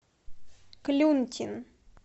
клюнтин